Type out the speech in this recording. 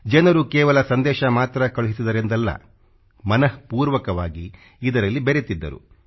ಜನರು ಕೇವಲ ಸಂದೇಶ ಮಾತ್ರ ತಿಳಿಸಿದರು ಎಂದಲ್ಲಾ ಮನಃಪೂರ್ವಕವಾಗಿ ಇದರಲ್ಲಿ ಬೆರೆತಿದ್ದರು